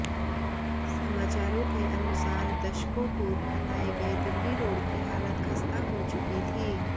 समाचारों के अनुसार दशकों पूर्व बनाये गये दिल्ली रोड की हालत खस्ता हो चुकी थी